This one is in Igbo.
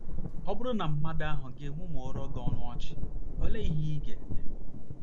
Ọ BỤRỤ na mmadụ ahụ gị mụmụọrọ gị ọnụ ọchị, olee ihe ị ga - eme?